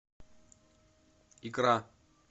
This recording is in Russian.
икра